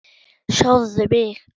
Sjáðu mig.